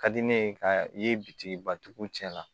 Ka di ne ye ka i bitiki batigiw cɛ la